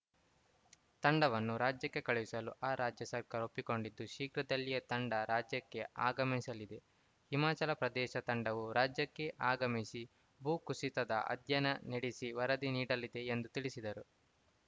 ತಂಡವನ್ನು ರಾಜ್ಯಕ್ಕೆ ಕಳುಹಿಸಲು ಆ ರಾಜ್ಯ ಸರ್ಕಾರ ಒಪ್ಪಿಕೊಂಡಿದ್ದು ಶೀಘ್ರದಲ್ಲಿಯೇ ತಂಡ ರಾಜ್ಯಕ್ಕೆ ಆಗಮಿಸಲಿದೆ ಹಿಮಾಚಲ ಪ್ರದೇಶದ ತಂಡವು ರಾಜ್ಯಕ್ಕೆ ಆಗಮಿಸಿ ಭೂಕುಸಿತದ ಅಧ್ಯಯನ ನಡೆಸಿ ವರದಿ ನೀಡಲಿದೆ ಎಂದು ತಿಳಿಸಿದರು